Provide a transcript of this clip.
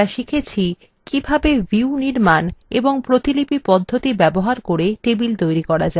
কিভাবে